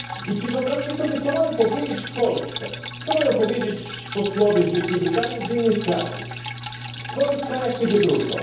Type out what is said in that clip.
Czy wyobrażacie sobie, co mamy powiedzieć w Polsce, co mają powiedzieć posłowie z Wielkiej Brytanii i z innych krajów, w swoich krajach, kiedy wrócą?